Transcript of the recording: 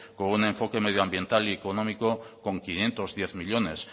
con un enfoque medioambiental y económico con quinientos diez millónes